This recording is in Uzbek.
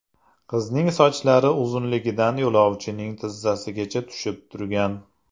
Qizning sochlari uzunligidan yo‘lovchining tizzasigacha tushib turgan.